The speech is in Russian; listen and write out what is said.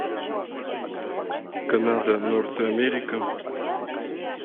канада норт америка